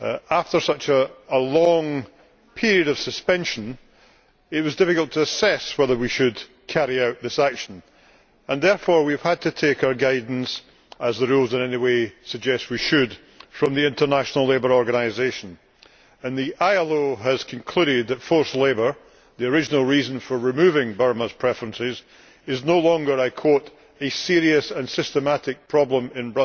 After such a long period of suspension, it was difficult to assess whether we should carry out this action and therefore we have had to take our guidance, as the rules anyway suggest we should, from the International Labour Organisation and the ILO has concluded that forced labour, the original reason for removing Burma's preferences, is no longer, I quote, a serious and systematic problem in